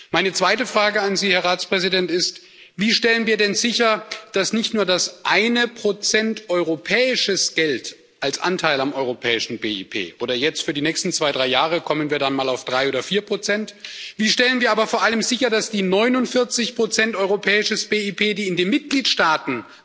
Meine zweite Frage an Sie, Herr Ratspräsident, ist Wie stellen wir denn sicher, dass nicht nur das eine Prozent europäisches Geld als Anteil am europäischen BIP oder jetzt, für die nächsten zwei, drei Jahre, kommen wir dann mal auf 3 oder 4 sondern vor allem die 49 europäisches BIP, die in den Mitgliedstaaten